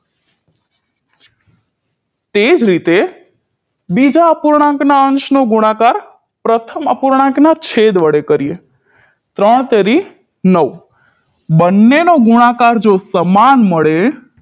તે જ રીતે બીજા અપૂર્ણાંકના અંશ નો ગુણાકાર પ્રથમ અપૂર્ણાંકના છેદ વડે કરીએ ત્રણ તેરી નવ બનેનો ગુણાકાર જો સમાન મળે